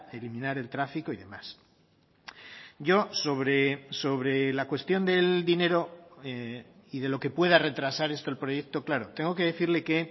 eliminar el tráfico y demás yo sobre sobre la cuestión del dinero y de lo que pueda retrasar esto el proyecto claro tengo que decirle que